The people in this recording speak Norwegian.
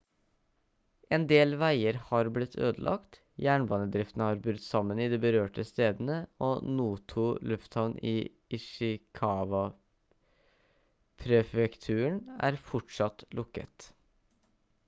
en del veier har blitt ødelagt jernbanedriften har brutt sammen i de berørte stedene og noto-lufthavn i ishikawa-prefekturen er fortsatt lukket